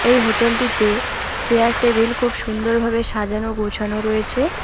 এই হোটেল -টিতে chair table খুব সুন্দরভাবে সাজানো গোছানো রয়েছে।